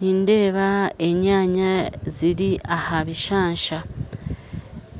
Nindeeba enyaanya ziri aha bishaansha